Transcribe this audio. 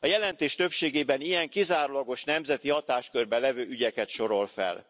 A jelentés többségében ilyen, kizárólagos nemzeti hatáskörben levő ügyeket sorol fel.